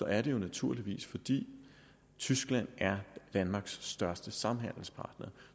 er det jo naturligvis fordi tyskland er danmarks største samhandelspartner